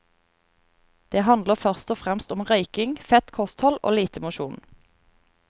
Det handler først og fremst om røyking, fett kosthold og lite mosjon.